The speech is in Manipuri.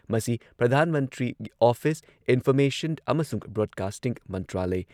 ꯃꯁꯤ ꯄ꯭ꯔꯙꯥꯟ ꯃꯟꯇ꯭ꯔꯤ ꯑꯣꯐꯤꯁ, ꯏꯟꯐꯣꯔꯃꯦꯁꯟ ꯑꯃꯁꯨꯡ ꯕ꯭ꯔꯣꯗꯀꯥꯁꯇꯤꯡ ꯃꯟꯇ꯭ꯔꯥꯂꯢ